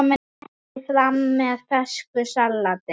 Berið fram með fersku salati.